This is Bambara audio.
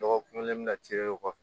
Dɔgɔkun kelen bɛna ci o kɔfɛ